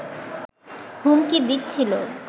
হুমকি দিচ্ছিল